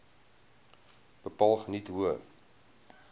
bepaal geniet hoë